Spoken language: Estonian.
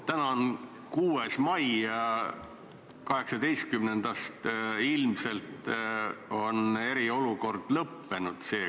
Täna on 6. mai ja 18-ndast ilmselt on eriolukord seekord lõppenud.